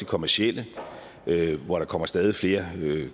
kommercielle hvor der kommer stadig flere